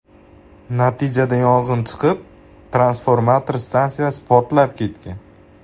Natijada yong‘in chiqib, transformator stansiyasi portlab ketgan.